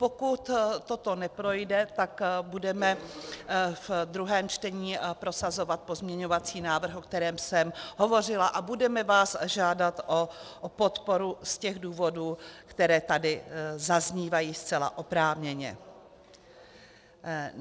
Pokud toto neprojde, tak budeme v druhém čtení prosazovat pozměňovací návrh, o kterém jsem hovořila, a budeme vás žádat o podporu z těch důvodů, které tady zaznívají zcela oprávněně.